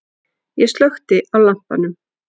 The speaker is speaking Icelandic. Ég slökkti á lampanum.